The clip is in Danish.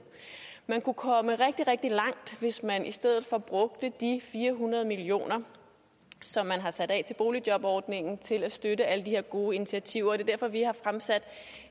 man kunne komme rigtig rigtig langt hvis man i stedet for brugte de fire hundrede million kr som man har sat af til boligjobordningen til at støtte alle de her gode initiativer det er derfor vi har fremsat